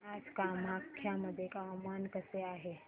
आज कामाख्या मध्ये हवामान कसे आहे